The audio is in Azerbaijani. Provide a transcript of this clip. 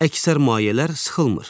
Əksər mayələr sıxılmır.